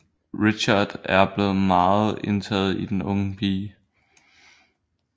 Richard er blevet meget indtaget i den unge pige